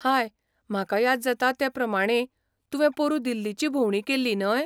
हाय, म्हाका याद जाता ते प्रमाणें तुवें पोरुं दिल्लीची भोवंडी केल्ली, न्हय?